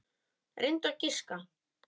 Reyndu að giska.